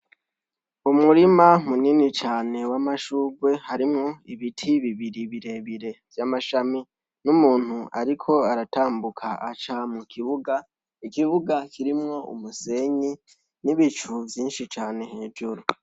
Umurima munini cane w'amashurwe harimwo ibiti bibiri birebire vy'amashami n'umuntu, ariko aratambuka aca mu kibuga ikibuga kirimwo umusenyi n'ibicu vyinshi cane hejuru.